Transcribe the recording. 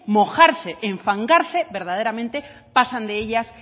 mojarse enfangarse verdaderamente pasan de ellas